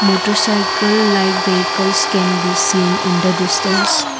motarcycle like vehicles can be seen in the distance.